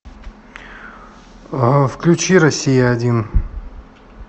включи россия один